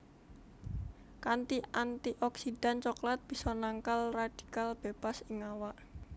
Kanthi antioksidan coklat bisa nangkal radikal bebas ing awak